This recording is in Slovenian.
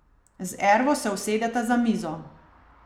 Z Ervo se usedeta za mizo.